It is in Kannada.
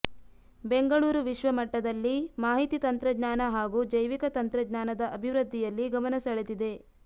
ಬೆಂಗಳೂರು ವಿಶ್ವ ಮಟ್ಟದಲ್ಲಿ ಮಾಹಿತಿ ತಂತ್ರಜ್ಞಾನ ಹಾಗೂ ಜೈವಿಕ ತಂತ್ರಜ್ಞಾನದ ಅಭಿವೃದ್ಧಿಯಲ್ಲಿ ಗಮನ ಸೆಳೆದಿದೆ